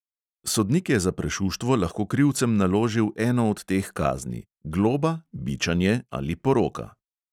Sodnik je za prešuštvo lahko krivcem naložil eno od teh kazni: globa, bičanje ali poroka.